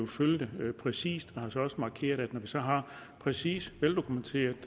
følge det præcist jeg har også markeret at når vi så har præcis veldokumenteret